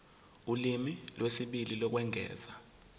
ulimi lwesibili lokwengeza